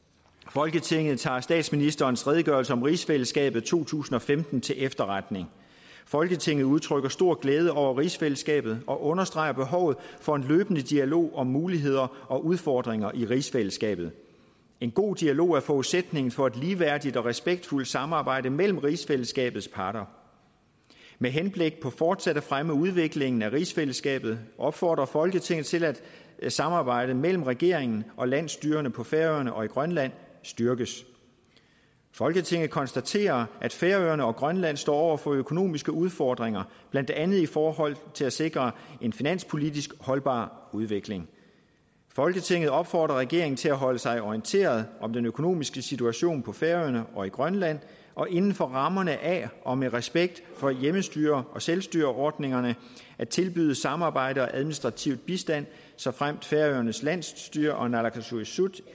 folketinget tager statsministerens redegørelse om rigsfællesskabet to tusind og femten til efterretning folketinget udtrykker stor glæde over rigsfællesskabet og understreger behovet for en løbende dialog om muligheder og udfordringer i rigsfællesskabet en god dialog er forudsætningen for et ligeværdigt og respektfuldt samarbejde mellem rigsfællesskabets parter med henblik på fortsat at fremme udviklingen af rigsfællesskabet opfordrer folketinget til at samarbejdet mellem regeringen og landsstyrerne på færøerne og i grønland styrkes folketinget konstaterer at færøerne og grønland står over for økonomiske udfordringer blandt andet i forhold til at sikre en finanspolitisk holdbar udvikling folketinget opfordrer regeringen til at holde sig orienteret om den økonomiske situation på færøerne og i grønland og inden for rammerne af og med respekt for hjemmestyre og selvstyreordningerne at tilbyde samarbejde og administrativ bistand såfremt færøernes landsstyre og naalakkersuisut